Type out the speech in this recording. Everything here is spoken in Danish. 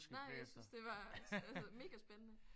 Nej jeg synes det var altså mega spændende